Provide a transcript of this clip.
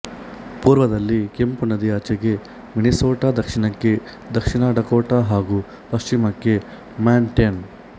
ಪೂರ್ವದಲ್ಲಿ ಕೆಂಪು ನದಿಯಾಚೆಗೆ ಮಿನಿಸೋಟ ದಕ್ಷಿಣಕ್ಕೆ ದಕ್ಷಿಣ ಡಕೋಟ ಹಾಗೂ ಪಶ್ಚಿಮಕ್ಕೆ ಮಾಂಟ್ಯಾನ